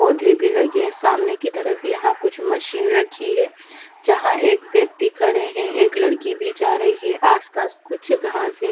पोधें भी लगे है सामने की तरफ़ यहाँ कुछ मशीन रखी है जहाँ एक व्यक्त्ति खड़े है एक लड़की भी जा रही है आस पास कुछ घासे--